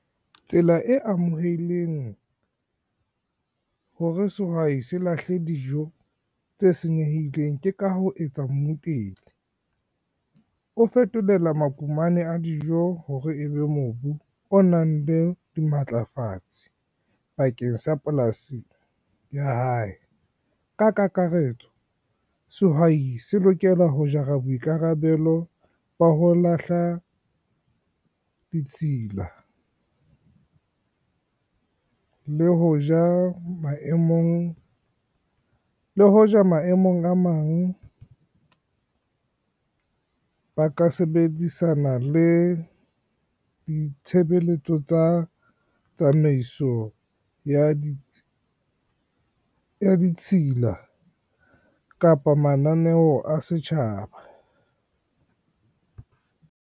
Tsela e amoheileng hore sehwai se lahle dijo tse senyehileng ke ka ho etsa . O fetolela mukumane a dijo hore ebe mobu o nang le dimatlafatse bakeng sa polasi ya hae. Ka kakaretso, sehwai se lokela ho jara boikarabelo ba ho lahla ditshila, le hoja maemong a mang ba ka sebedisana le di tshebeletso tsa tsamaiso ya di ditshila kapa mananeo a setjhaba.